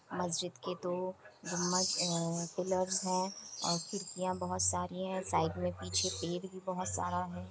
मस्जिद के दो गुम्बज ए-- पिलरस् हैं। और खिड़किया बहुत सारी हैं साइड में पीछे पेड़ भी बहुत सारा हैं।